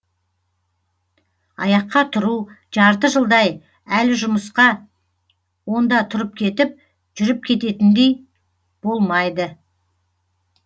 аяққа тұру жарты жылдай әлі жұмысқа онда тұрып кетіп жүріп кететіндей болмайды